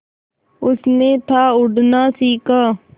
उसने था उड़ना सिखा